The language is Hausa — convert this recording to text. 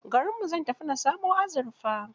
Garinmu zan tafi na samo azurfa.